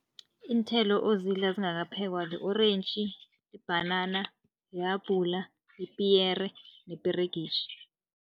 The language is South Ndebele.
Iinthelo ozidla zingakaphekwa, li-orentji, ibhanana, ihabhula, ipiyere neperegitjhi.